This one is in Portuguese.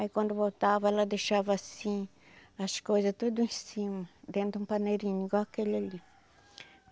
Aí quando voltava, ela deixava assim, as coisas tudo em cima, dentro de um paneirinho, igual aquele ali.